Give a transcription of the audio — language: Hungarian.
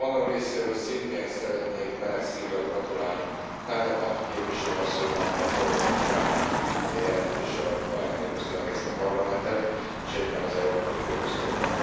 A magam részéről szintén szeretnék meleg szívvel gratulálni Kadenbach képviselő asszonynak, mert valóban egy remek jelentéssel ajándékozta meg ezt a Parlamentet és egyben az európai fogyasztókat.